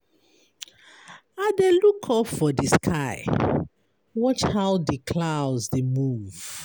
I dey look up for di sky, watch how di clouds dey move.